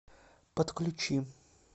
подключи